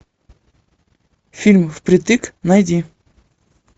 фильм впритык найди